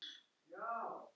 Og vertu sæll.